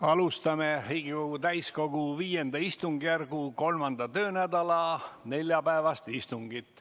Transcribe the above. Alustame Riigikogu täiskogu V istungjärgu 3. töönädala neljapäevast istungit.